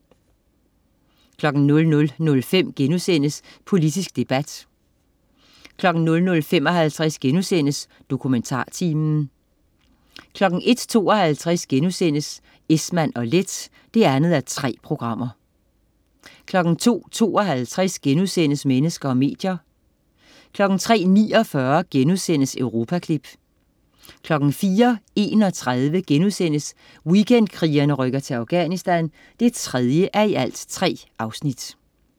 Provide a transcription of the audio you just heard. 00.05 Politisk debat* 00.55 DokumentarTimen* 01.52 Esmann & Leth 2:3* 02.52 Mennesker og medier* 03.49 Europaklip* 04.31 Weekendkrigerne rykker til Afganisthan 3:3*